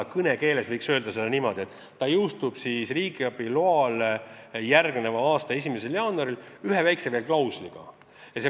Aga kõnekeeles võiks öelda, et seadus jõustub riigiabi loale järgneva aasta 1. jaanuaril, aga seda väikese klausliga.